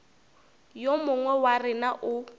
yo mongwe wa rena o